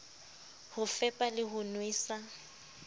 ho fepa le ho nwesa